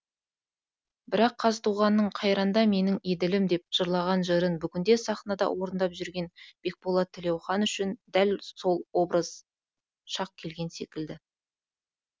бірақ қазтуғанның қайранда менің еділім деп жырлаған жырын бүгінде сахнада орындап жүрген бекболат тілеухан үшін дәл сол образ шақ келген секілді